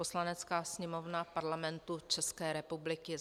Poslanecká sněmovna Parlamentu České republiky